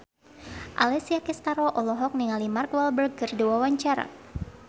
Alessia Cestaro olohok ningali Mark Walberg keur diwawancara